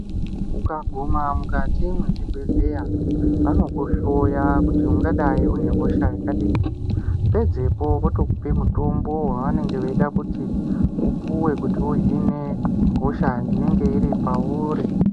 Ukaguma mukati mwezvibhedhleya anokuhloya kuti ungadai unehosha yakadini, pedzepo otokupa mutombo waanenge weida kuti upuwe kuti uhine hosha inenge iri pauri.